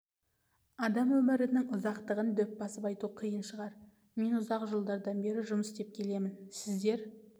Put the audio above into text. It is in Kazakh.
адам өмірінің ұзақтығын дөп басып айту қиын шығар мен ұзақ жылдардан бері жұмыс істеп келемін сіздер